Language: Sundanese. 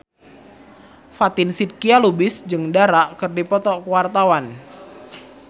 Fatin Shidqia Lubis jeung Dara keur dipoto ku wartawan